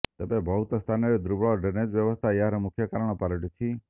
ତେବେ ବହୁତ ସ୍ଥାନରେ ଦୁର୍ବଳ ଡ଼୍ରେନେଜ୍ ବ୍ୟବସ୍ଥା ଏହାର ମୁଖ୍ୟ କାରଣ ପାଲଟିଛି